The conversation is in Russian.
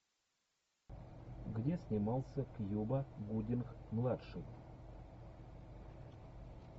где снимался кьюба гудинг младший